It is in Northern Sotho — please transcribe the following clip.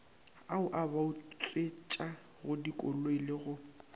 ao a bautswetšagodikoloi le go